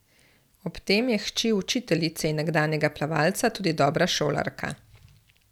Ob tem je hči učiteljice in nekdanjega plavalca tudi dobra šolarka.